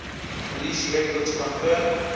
police records confirm